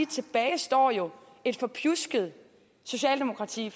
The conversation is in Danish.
tilbage står jo et forpjusket socialdemokrati